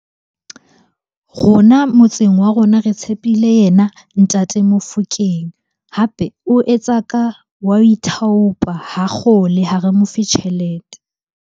Rona motseng wa rona re tshepile yena Ntate Mofokeng. Hape o etsa ka, wa ho ithaopa. Ha kgole, ha re mofe tjhelete.